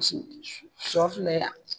siyɔ filɛ yan.